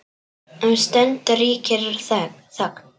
Um stund ríkir þögn.